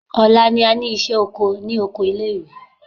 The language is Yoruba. Ọ̀la ni a ní ìṣẹ́ oko ní oko ilé ìwé.